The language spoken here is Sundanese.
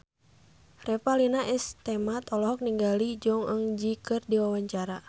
Revalina S. Temat olohok ningali Jong Eun Ji keur diwawancara